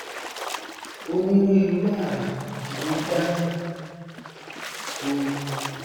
onírúirú àrà ní wọn dá o